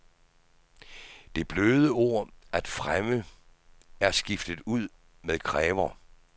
Det bløde ord at fremme er skiftet ud med kræver.